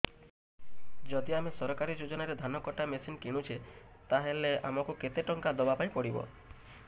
ଯଦି ଆମେ ସରକାରୀ ଯୋଜନାରେ ଧାନ କଟା ମେସିନ୍ କିଣୁଛେ ତାହାଲେ ଆମକୁ କେତେ ଟଙ୍କା ଦବାପାଇଁ ପଡିବ